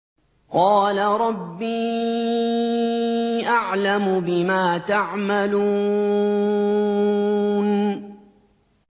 قَالَ رَبِّي أَعْلَمُ بِمَا تَعْمَلُونَ